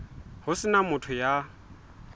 ho se na motho ya